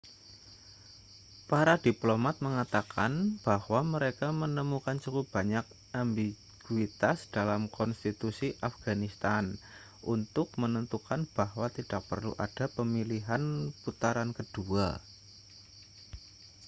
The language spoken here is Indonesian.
para diplomat mengatakan bahwa mereka menemukan cukup banyak ambiguitas dalam konstitusi afganistan untuk menentukan bahwa tidak perlu ada pemilihan putaran kedua